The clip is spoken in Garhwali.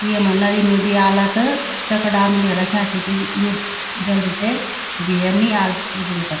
येमा नदी नुदी आला त चकडाम इले रख्याँ च की यु जल्दी से भैर नी आल उचड़ी कर।